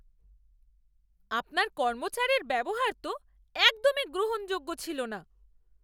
আপনার কর্মচারীর ব্যবহার তো একদমই গ্রহণযোগ্য ছিল না।